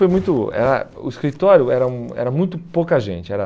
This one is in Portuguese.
foi muito era o escritório era hum era muito pouca gente. Era